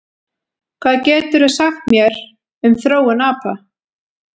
Hvað geturðu sagt mér um þróun apa?